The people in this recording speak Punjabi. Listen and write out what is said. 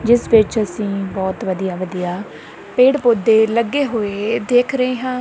ਜਿਸ ਵਿੱਚ ਅਸੀਂ ਬਹੁਤ ਵਧੀਆ ਵਧੀਆ ਪੇੜ ਪੌਦੇ ਲੱਗੇ ਹੋਏ ਦੇਖ ਰਹੇ ਹਾਂ।